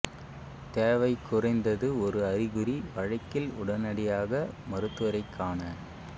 தேவை குறைந்தது ஒரு அறிகுறி வழக்கில் உடனடியாக மருத்துவரைக் காண